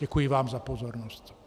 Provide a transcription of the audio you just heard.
Děkuji vám za pozornost.